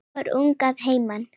Fór ung að heiman.